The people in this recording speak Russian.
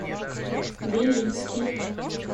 белинский